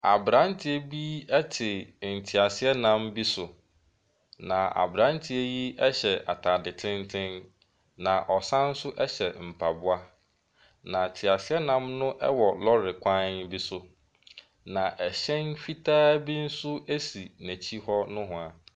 Aberanteɛ bi te teaseanam bi so. Na aberanteɛ yi hyɛ atade tenten. Na ɔsane nso hyɛ mpaboa. Na teaseanam no wɔ lɔɔre kwan bi so. Na ɛhyɛn fitaa bi nso si n'akyi hɔ nohoa.